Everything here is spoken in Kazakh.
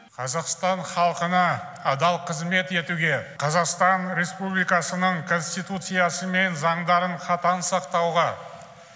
қазақстан халқына адал қызмет етуге қазақстан республикасының конституциясы мен заңдарын қатаң сақтауға